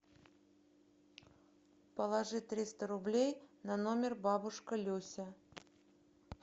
положи триста рублей на номер бабушка люся